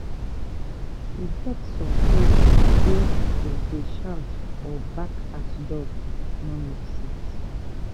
e get some place wey to dey shout or bark at dog no make sense